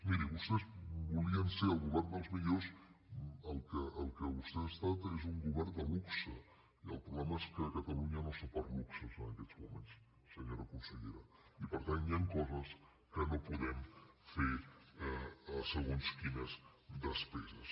miri vostès volien ser el govern dels millors el que vostès han estat és un govern de luxe i el problema és que catalunya no està per luxes en aquests moments senyora consellera i per tant hi han coses en què no podem fer segons quines despeses